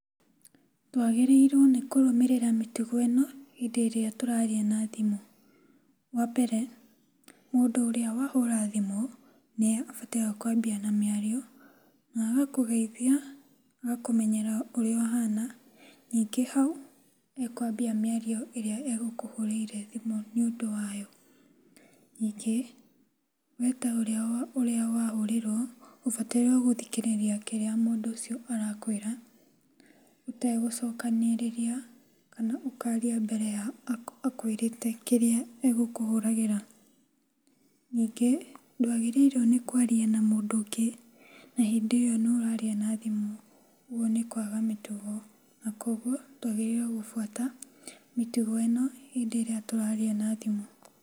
Twagĩrĩirwo nĩ kũrũmĩrĩra mĩtugo ĩno hĩndĩ ĩrĩa tũraria na thimũ. Wa mbere, mũndũ ũrĩa wahũra thimũ nĩe abataire kwambia na mĩario na agakũgeitha, agakũmenyera ũrĩa ũhana. Ningĩ hau, e kwambia mĩario ĩrĩa egũkũhũrĩire thimũ nĩũndũ wayo. Ningĩ, we ta ũrĩa ũrĩa wahũrĩrwo, ũbataire gũthikĩrĩria kĩrĩa mũndũ ũcio arakwĩra ũtegũcokanĩrĩria kana ũkaria mbere ya akwĩrĩte kĩrĩa egũkũhũragĩra. Ningĩ ndwagĩrĩirwo nĩ kwaria na mũndũ ũngĩ na hĩndĩ ĩo nĩ ũraria na thimũ, ũguo nĩ kwaga mĩtugo. Na kũoguo twagĩrĩirwo gũbuata mĩtugo ĩno hĩndĩ ĩrĩa tũraria na thimũ.